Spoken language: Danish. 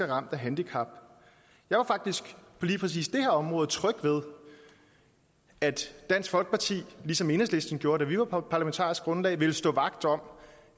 ramt af handicap jeg var faktisk på lige præcis det her område tryg ved at dansk folkeparti ligesom enhedslisten gjorde det da vi var parlamentarisk grundlag ville stå vagt om